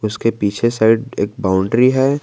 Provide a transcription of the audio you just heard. उसके पीछे साइड एक बाउंड्री है।